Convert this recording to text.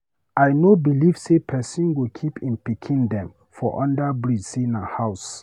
I no belive say pesin go keep im pikin dem for under bridge sey na house.